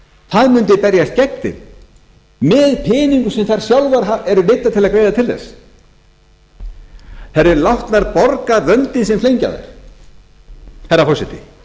það mundi berjast gegn þeim með peningum sem þær sjálfar eru neyddar til að greiða til þess þær yrðu látnar borga vöndinn sem flengja þær herra forseti